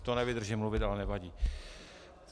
To nevydržím mluvit, ale nevadí.